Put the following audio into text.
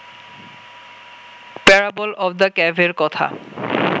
parable of the ক্যাভের কথা